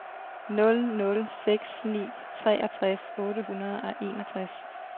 nul nul seks ni treogtres otte hundrede og enogtres